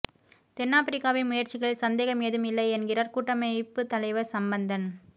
தென்னாபிரிக்காவின் முயற்சிகளில் சந்தேகம் ஏதும் இல்லை என்கிறார் கூட்டமைப்புத் தலைவர் சம்பந்தன்